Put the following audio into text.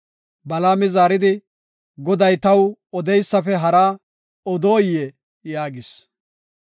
Balaami zaaridi, “Goday taw odeysafe haraa odoyee?” yaagis.